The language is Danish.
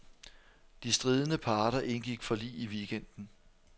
De stridende parter indgik forlig i weekenden.